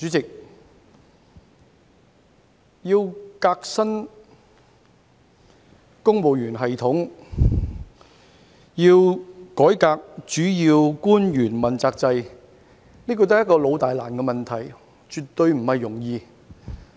主席，革新公務員系統、改革主要官員問責制是一個老大難的問題，絕對不是容易的事。